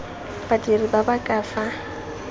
badiri ba ba ka fa